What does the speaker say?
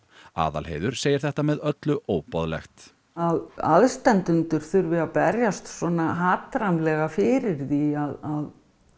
Aðalheiður segir þetta með öllu óboðlegt að aðstandendur þurfi að berjast svona hatrammlega fyrir því að